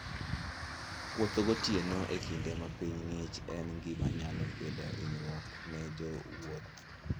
Wuoth gotieno e kinde ma piny ng'ich en gima nyalo kelo hinyruok ne jowuoth.